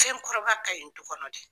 Denkɔrɔba ka ɲi du kɔnɔ dɛ.